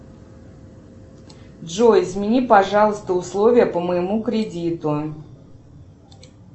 джой смени пожалуйста условия по моему кредиту